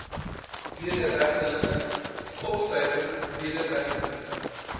wederregtelike opsluiting wederregtelike